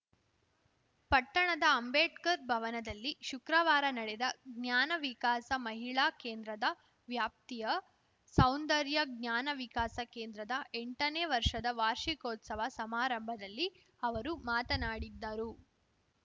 ಪಟ್ಟಣದ ಅಂಬೇಡ್ಕರ್‌ ಭವನದಲ್ಲಿ ಶುಕ್ರವಾರ ನಡೆದ ಜ್ಞಾನ ವಿಕಾಸ ಮಹಿಳಾ ಕೇಂದ್ರದ ವ್ಯಾಪ್ತಿಯ ಸೌಂದರ್ಯ ಜ್ಞಾನ ವಿಕಾಸ ಕೇಂದ್ರದ ಎಂಟನೇ ವರ್ಷದ ವಾರ್ಷಿಕೋತ್ಸವ ಸಮಾರಂಭದಲ್ಲಿ ಅವರು ಮಾತನಾಡಿದ್ದರು